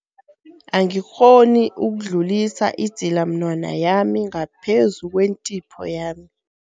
Angikghoni ukudlulisa idzilamunwana yami ngaphezu kwentipho yami.